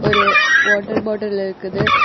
ஒரு water bottle இருக்குது.